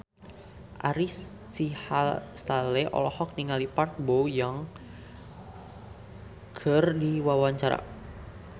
Ari Sihasale olohok ningali Park Bo Yung keur diwawancara